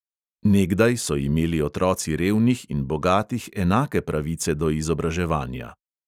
Nekdaj so imeli otroci revnih in bogatih enake pravice do izobraževanja.